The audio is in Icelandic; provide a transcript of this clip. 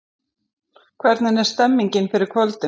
Hvernig er stemningin fyrir kvöldinu?